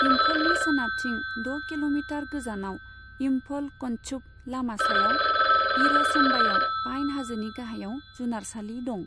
इम्फलनि सोनाबथिं द' किल'मिटार गोजानाव, इम्फल कन्चूप लामा सायाव इर'सेम्बायाव पाइन हाजोनि गाहायाव, जुनारसालि दं।